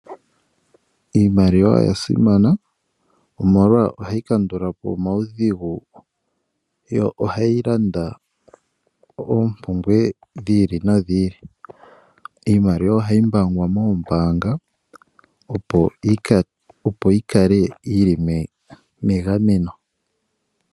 Iimaliwa oya simana, molwashoka ohayi kandula po omaudhigu, yo ohayi landa oompumbwe dhi ili nodhi ili. Iimaliwa ohayi mbaangwa moombaanga, opo yi kale yi li megameno.